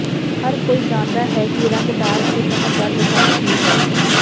ਹਰ ਕੋਈ ਜਾਣਦਾ ਹੈ ਕਿ ਰੰਗਦਾਰ ਅਤੇ ਚਮਕਦਾਰ ਬਸੰਤ ਕੀ ਹੈ